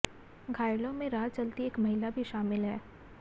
घायलों में राह चलती एक महिला भी शामिल है